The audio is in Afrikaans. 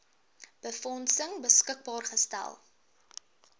befondsing beskikbaar gestel